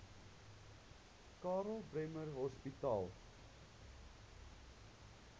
karl bremer hospitaal